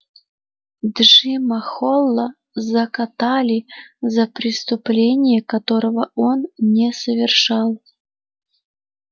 джима холла закатали за преступление которого он не совершал